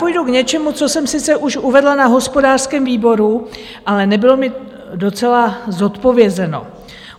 Půjdu k něčemu, co jsem sice už uvedla na hospodářském výboru, ale nebylo mi docela zodpovězeno.